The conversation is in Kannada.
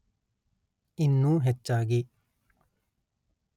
ಇನ್ನೂ ಹೆಚ್ಚಾಗಿ